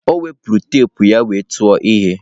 O wepụrụ teepu ya wee tụọ ihe.